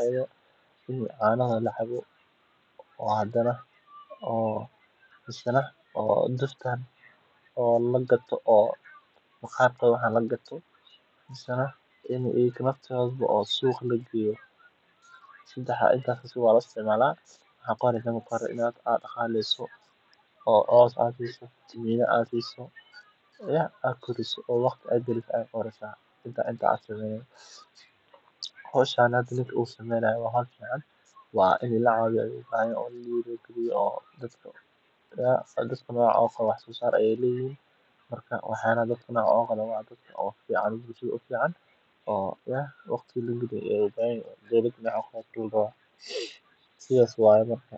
aya lo istimala intas aya lo isticmala cana aya kaheli in aa koriso waqti galiso aya laraw hoshan hada ninkan u sameynayo waa holl fican markas waxyala fican aya kaheli sithas waye marka.